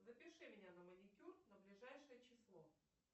запиши меня на маникюр на ближайшее число